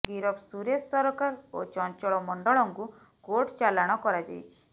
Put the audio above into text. ଗିରଫ ସୁରେଶ ସରକାର ଓ ଚଚଂଳମଣ୍ଡଳଙ୍କୁ କୋର୍ଟ ଚାଲାଣ କରାଯାଇଛି